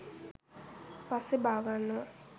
පස්සේ බාගන්නවා